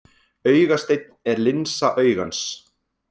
Augasteinn er linsa augans.